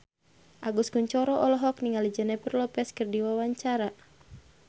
Agus Kuncoro olohok ningali Jennifer Lopez keur diwawancara